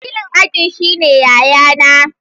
Wakilin aji shine yayana.